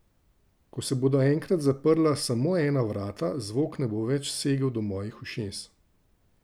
Ko se bodo enkrat zaprla samo ena vrata, zvok ne bo več segel do mojih ušes.